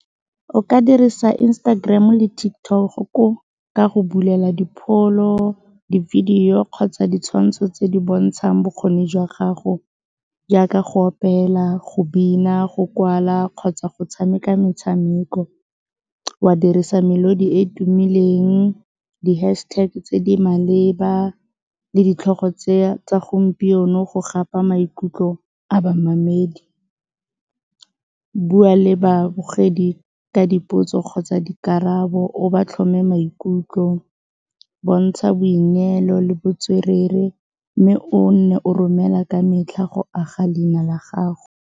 O ka dirisa Instagram-o le TikTok ka go bulela dipholo, di-video kgotsa ditshwantsho tse di bontshang bokgoni jwa gago jaaka go opela, go bina, go kwala kgotsa go tshameka metshameko, wa dirisa melodi e e tumileng, di-hashtag tse di maleba le ditlhogo tsa gompieno go gapa maikutlo a bamamedi. Bua le babogedi ka dipotso kgotsa dikarabo o ba tlhome maikutlo. Bontsha boineelo le botswerere mme o nne o romela ka metlha go aga leina la gago.